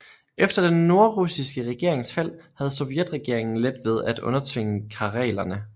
Efter den nordrussiske regerings fald havde sovjetregeringen let ved at undertvinge karelerne